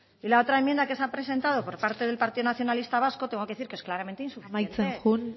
y la otra enmienda que se ha presentado por parte del partido nacionalista vasco tengo que decir que es claramente insuficiente amaitzen joan